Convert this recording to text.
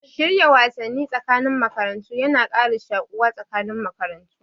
Shirya wasanni tsakanin makarantu yana kara shuƙuwa tsakanin makarantu